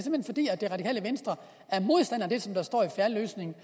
radikale venstre er modstander af det der står i fair løsning